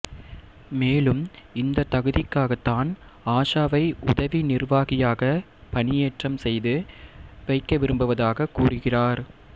மேலும் இந்த தகுதிக்காக தான் ஆஷாவை உதவி நிர்வாகியாக பணியேற்றம் செய்து வைக்க விரும்புவதாக கூறுகிறார்